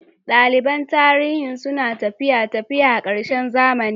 Daliban Tarihi suna tafiya Tafiya a ƙarshen zaman.